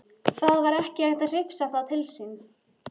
Það var ekki hægt að hrifsa það til sín.